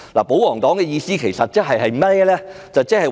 保皇黨的意思其實是甚麼呢？